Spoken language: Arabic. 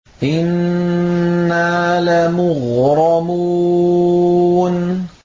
إِنَّا لَمُغْرَمُونَ